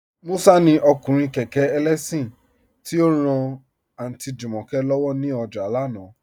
Musa ni ọkùnrin kẹkẹ ẹlẹ́ṣin, ti o ran Aunty Jumoke lọ́wọ ni ọjà lánà.